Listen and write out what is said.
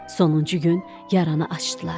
Sonuncu gün yaranı açdılar.